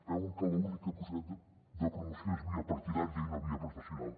veuen que l’única possibilitat de promoció és via partidària i no via professional